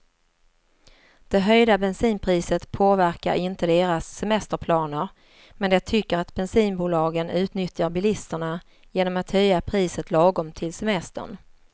Det höjda bensinpriset påverkar inte deras semesterplaner, men de tycker att bensinbolagen utnyttjar bilisterna genom att höja priset lagom till semestern.